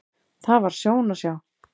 Það var sjón að sjá.